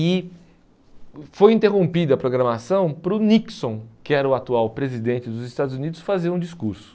E foi interrompida a programação para o Nixon, que era o atual presidente dos Estados Unidos, fazer um discurso.